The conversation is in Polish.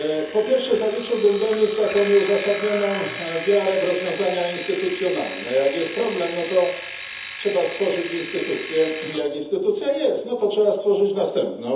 Po pierwsze, zaliczyłbym do nich taką nieuzasadnioną wiarę w rozwiązania instytucjonalne jak jest problem, to trzeba stworzyć instytucję, jak już jest instytucja, to trzeba stworzyć następną.